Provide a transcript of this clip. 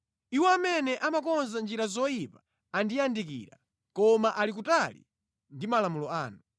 Iwo amene amakonza njira zoyipa andiyandikira, koma ali kutali ndi malamulo anu.